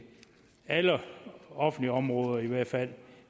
alle offentlige områder i hvert fald